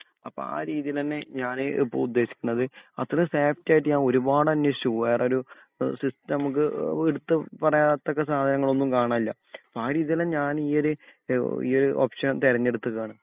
അപ്പോ ആ രീതിയിൽ തന്നെ ഞാന് ഇപ്പൊ ഉദ്ദേശിക്കുന്നത് അത്രേം സേഫ്റ്റി ആയിട്ട് ഞാൻ ഒരുപാട് അന്വേഷിച്ചു വേറൊരു ഈഹ് സിസ്റ്റം നമുക്ക് എടുത്ത് പറയത്തക്ക സാധനം ഒന്നും കാണാൻ ഇല്ല ആ ഒരു രീതിയിൽ ഞാന് ഈ ഒരു ഈ ഓപ്ഷൻ തെരഞ്ഞെടുത്തക്കേണ്